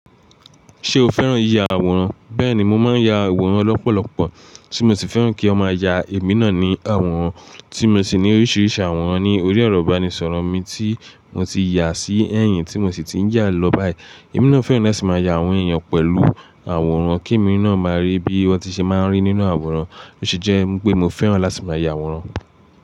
Ṣé o fẹ́ràn yìyà àwòrán? Bẹ́ẹ̀ni, mo máa ń ya àwòrán lọ́pọ̀lọpọ̀ tí mo sì fẹ́ràn kí wọ́n máa ya èmi náà ní àwòrán, tí mo sì ní oríṣiríṣi àwòrán ní orí ẹ̀rọ ìbánisọ̀rọ̀ mi tí mo ti yà sí ẹ̀yìn tí mo sì ti ń yà lọ báyìí. Èmi náà fẹ́ràn láti máa ya àwọn èèyàn pẹ̀lú àwòrán kí èmi náà máa rí bí wọ́n ti ṣe máa ń rí nínú àwòrán, ó ṣe jẹ́ pé mo fẹ́ràn láti máa ya àwòrán.